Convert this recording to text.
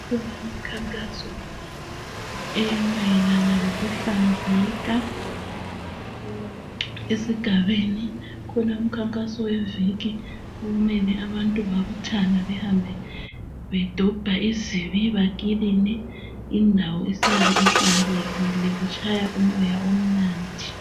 Kulomkhankaso emayelana lokuhlanzeka esigabeni kulomkhankaso weviki okumele abantu babuthane behambe bedobha izibi bekiline indawo isale ihlanzekile kutshaya umoya omnandi.